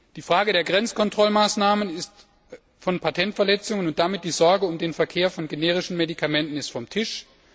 Die Frage der Grenzkontrollmaßnahmen bei Patentverletzungen, und damit die Sorge um den Verkehr von generischen Medikamenten, ist vom Tisch.